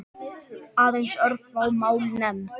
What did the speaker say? Aðeins örfá mál nefnd.